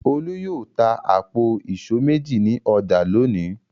Olú yóò ta àpò ìṣó méjì ní ọjà lónìí.